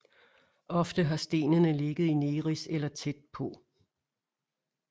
Ofte har stenene ligget i Neris eller tæt på